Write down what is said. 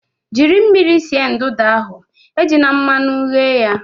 Jiri mmiri sie nudụ ahu, ejina mmanụ ghe!